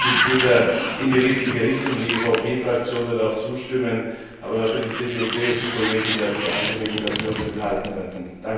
Also grundsätzlich geht der Bericht in die richtige Richtung, die EVP Fraktion wird auch zustimmen, aber für die CDU CSU Kollegen darf ich ankündigen, dass wir uns enthalten werden.